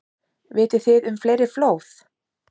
Vitið þið um fleiri flóð?